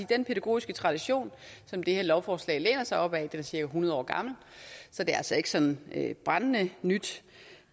den pædagogiske tradition som det her lovforslag læner sig op ad er cirka hundred år gammel så det er altså ikke sådan brændende nyt